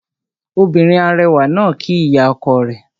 Obìnrin arẹwà náà kíí ìyá ọkọ rẹ̀